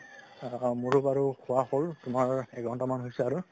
অ অ মোৰো বাৰু খুৱা হল তুমাৰ এক ঘন্তামান হৈছে আৰু